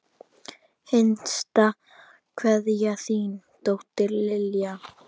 Hinsta kveðja, þín dóttir, Lilja.